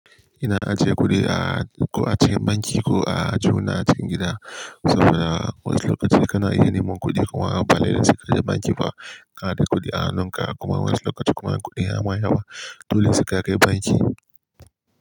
Ina ajiye kuɗi a ko a cikin banki ko a aljuhuna cikin gida saboda wasu lokaci kana iya neman kuɗi kuma balele sai kaje banki ba, ka nada kuɗi a hannunka kuma wasu lokaci kuma in kuɗin ya ma yawa, dole sai ka kai banki.